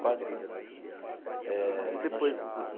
Quase casamos eh. E depois.